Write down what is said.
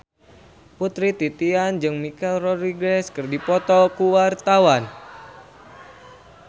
Putri Titian jeung Michelle Rodriguez keur dipoto ku wartawan